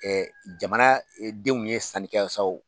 jamana denw ye sanni kɛ yan sa o.